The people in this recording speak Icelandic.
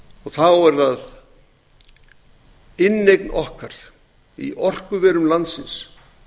og þá er það inneign okkar í orkuverum landsins